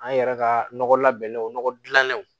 An yɛrɛ ka nɔgɔ labɛnw nɔgɔ dilannenw